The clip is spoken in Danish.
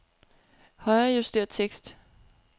Højrejuster tekst.